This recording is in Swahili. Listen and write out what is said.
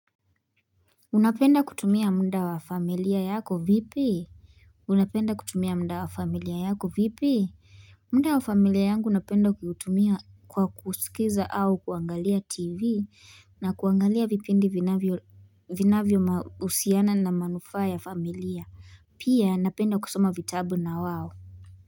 Unapenda kutumia muda wa familia yako vipi? Unapenda kutumia mnda wa familia yako vipi? Muda wa familia yangu napenda kuutumia kwa kusikiza au kuangalia tv na kuangalia vipindi vinavyo vinavyo husiana na manufaa ya familia. Pia napenda kusoma vitabu na wao.